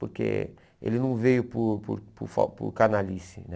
Porque ele não veio por por por fal por canalhice, né?